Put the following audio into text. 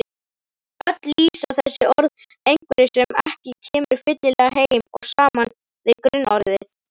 Öll lýsa þessi orð einhverju sem ekki kemur fyllilega heim og saman við grunnorðið.